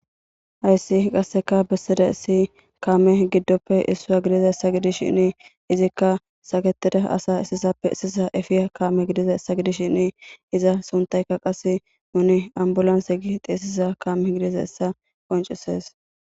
Hayssi qasseka bessida issi kaame giddoppe issua gidiza essa gidis shinni izikka saketida asa isisappe esisa efiya kaame gidiza essa gidis shinni iza suntayka qasse muni ambulanse gi xeesiza kaame gidiza essa qoncisees